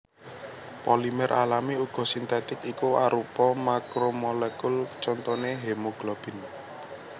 Polimer alami uga sintetik iku arupa makromolekul contoné hemoglobin